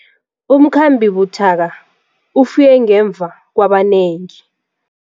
Umkhambi buthaka ufike ngemva kwabanengi.